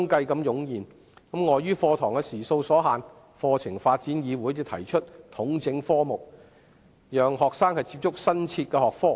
鑒於課堂時數所限，課程發展議會便提出統整科目，讓學生能接觸新設學科。